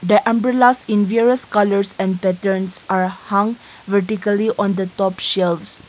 the umbrellas in different various colours and patterns are hang vertically on the top shelves.